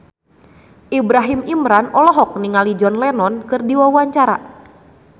Ibrahim Imran olohok ningali John Lennon keur diwawancara